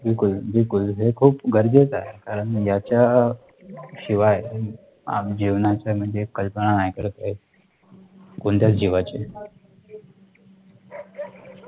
बिलकुल बिलकुल हे खूप गरजेचं आहे कारण याचा शिवाय जीवनाचं कल्पना नाही करता येत कोणत्याच जीवाची